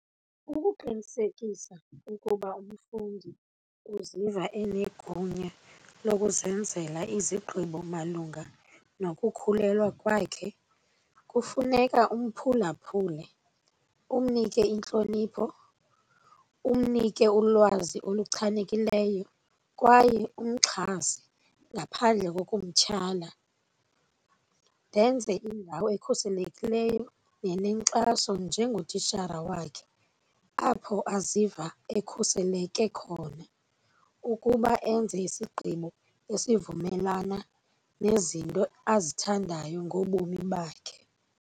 Ukuqinisekisa ukuba umfundi uziva enegunya lokuzenzela izigqibo malunga nokukhulelwa kwakhe kufuneka umphulaphule, umnike intlonipho, umnike ulwazi oluchanekileyo kwaye umxhase ngaphandle kokumtyhala, ndenze indawo ekhuselekileyo nenenkxaso njengotishara wakhe apho aziva ekhuseleke khona ukuba enze isigqibo esivumelana nezinto azithandayo ngobomi bakhe.